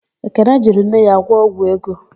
Ekene jiri nne ya gwọ ọgwụ ego.